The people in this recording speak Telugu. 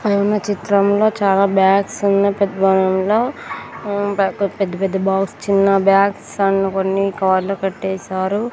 పైన చిత్రంలో చాలా బ్యాగ్స్ అన్ని పెత్తటంలో హు పెద్ద పెద్ద బాక్స్ చిన్న బ్యాగ్స్ అండ్ కొన్ని కవర్లో కట్టేసారు.